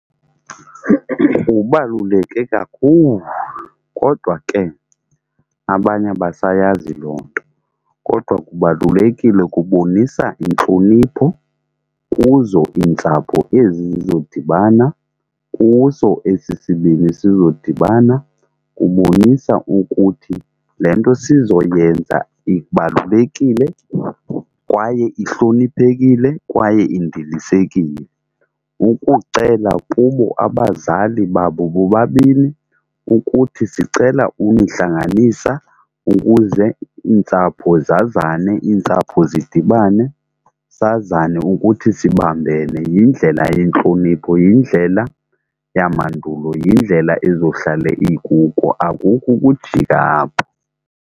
Kubaluleke kakhulu kodwa ke abanye abasayazi loo nto. Kodwa kubalulekile, kubonisa intlonipho kuzo iintsapho ezi zizodibana, kuso esi sibini sizodibana. Kubonisa ukuthi le nto sizoyenza ibalulekile kwaye ihloniphekile kwaye indilisekile. Ukucela kubo abazali babo bobabini ukuthi sicela unihlanganisa ukuze iintsapho zazane, intsapho zidibane sazane ukuthi sibambene. Yindlela yentlonipho, yindlela yamandulo, yindlela ezohlale ikuko akukho ukujika apho.